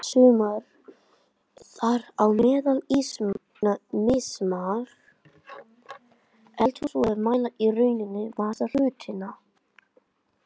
Sumar, þar á meðal ýmsar eldhúsvogir, mæla í rauninni massa hlutanna.